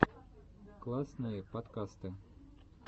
классные подкасты